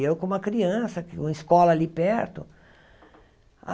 Eu com uma criança, com uma escola ali perto.